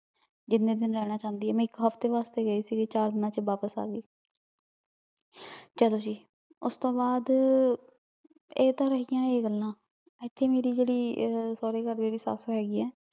ਜਿੰਨੇ ਦਿਨ ਰਹਨਾ ਚਾਉਂਦੀ ਆਯ ਮੈਂ ਇਕ ਹਫਤੇ ਵਾਸਤੇ ਗਈ ਸੀ ਚਾਰ ਦਿਨਾਂ ਵਿਚ ਵਾਪਿਸ ਆਗਯੀ ਚਲੋ ਜੀ ਉਸਤੋਂ ਬਾਅਦ ਇਹ ਤਾਂ ਰਹਿਯਾਂ ਇਹ ਗੱਲਾਂ ਏਥੇ ਮੇਰੀ ਜੇੜ੍ਹੀ ਸਾਰੇ ਘਰ ਮੇਰੀ ਸਾਸ ਹੇਗੀ ਆ